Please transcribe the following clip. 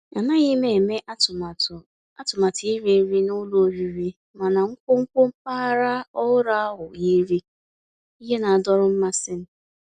Ànàghị́ m èmé àtụ̀màtụ́ àtụ̀màtụ́ írì nrí ná ụ́lọ̀ ọ̀rị́rị́, mànà nkwonkwo mpàgàrà ọ̀hụ́rụ́ ahụ́ yìrí íhè ná-àdọ̀rọ́ mmàsí m.